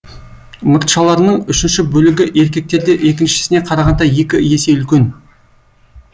мұртшаларының үшінші бөлігі еркектерде екіншісіне қарағанда екі есе үлкен